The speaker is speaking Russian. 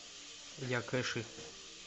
якэши